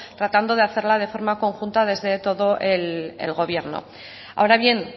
tratando de hacerla de forma conjunta desde todo el gobierno ahora bien